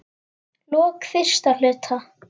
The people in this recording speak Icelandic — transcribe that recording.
lok fyrsta hluta